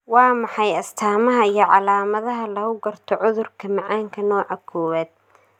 Waa maxay astamaha iyo calaamadaha lagu garto cudurka macaanka nooca kowwad?